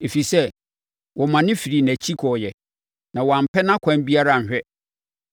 ɛfiri sɛ, wɔmane firii nʼakyi kɔeɛ na wɔampɛ nʼakwan biara anhwɛ.